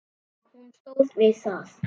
Og hún stóð við það.